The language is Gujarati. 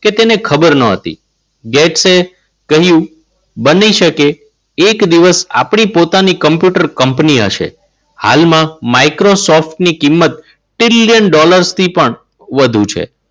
કે તેને ખબર ન હતી. ગેટ સે કહ્યું બની શકે એક દિવસ આપણી પોતાની કમ્પ્યુટર કંપની હશે. હાલમાં, માઈક્રોસોફ્ટ ની કિંમત trillion dollar થી પણ વધુ છે.